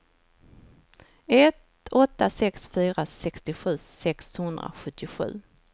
ett åtta sex fyra sextiosju sexhundrasjuttiosju